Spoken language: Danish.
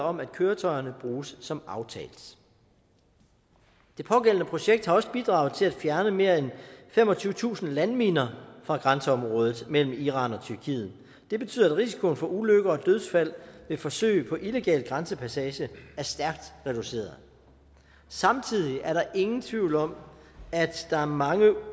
om at køretøjerne bruges som aftalt det pågældende projekt har også bidraget til at fjerne mere end femogtyvetusind landminer fra grænseområdet mellem iran og tyrkiet det betyder at risikoen for ulykker og dødsfald ved forsøg på illegal grænsepassage er stærkt reduceret samtidig er der ingen tvivl om at der er mange